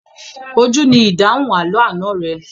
Ojú ni ìdáhùn àlọ́ àná rẹ.